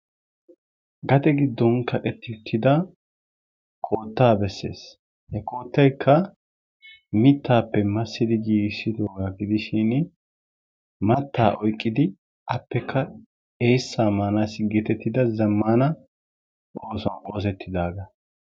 Gade giddon kaqqeti uttida koottaa bessees. He koottaykka mittappe massidi giiggissidooga gidishin mattaa oyqqidi appekka eessaa maanassi getettidi zammana oosuwan oosettidaaga.